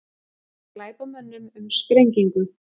Kenna glæpamönnum um sprengingu